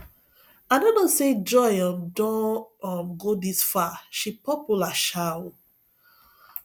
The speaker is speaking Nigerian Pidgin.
i no know say joy um don um go dis far she popular um oo